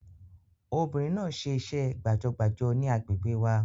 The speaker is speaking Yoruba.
Obìnrin náà ṣe iṣẹ́ gbàjọgbàjọ ní àgbègbè wa